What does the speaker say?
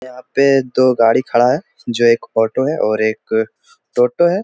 यहाँ पे दो गाड़ी खड़ा है जो एक ऑटो है और एक टोटो है |